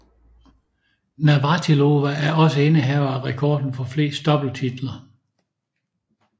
Navratilova er også indehaver af rekorden for flest doubletitler